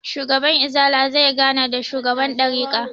Shugaban izala zai gana da shugaban ɗarika